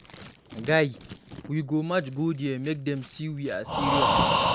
Guy, we go march go there make dem see say we serious.